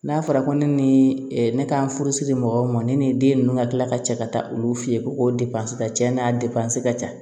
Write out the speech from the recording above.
N'a fɔra ko ne ni ne ka furusiri mɔgɔw ma ne ni den ninnu ka tila ka cɛ ka taa olu fɛ yen ko n'a ka ca